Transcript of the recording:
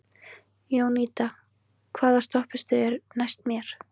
Jónída, hvaða stoppistöð er næst mér?